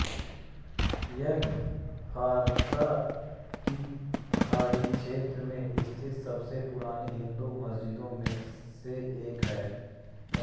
यह फ़ारस की खाड़ी क्षेत्र में स्थित सबसे पुराने हिंदू मंदिरों में से एक है